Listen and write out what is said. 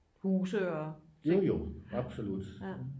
jojo absolut